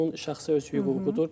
Bu onun şəxsi öz hüququdur.